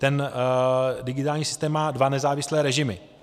Ten digitální systém má dva nezávislé režimy.